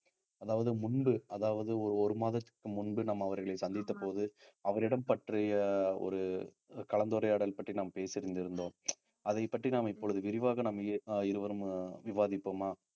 அதாவது முன்பு அதாவது ஒரு ஒரு மாதத்திற்கு முன்பு நம்ம அவர்களை சந்தித்த போது அவரிடம் பற்றிய ஒரு கலந்துரையாடல் பற்றி நாம் பேசி இருந்திருந்தோம் அதைப் பற்றி நாம் இப்பொழுது விரிவாக நாம் இ~ இருவரும் விவாதிப்போமா